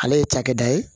Ale ye cakɛda ye